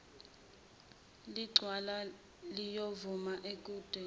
licelwa liyovuma ukudweba